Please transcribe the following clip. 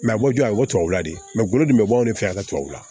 a bɔ a ye o tubabula de gɔlɔ min be bɔ anw fɛ yan ka tubabula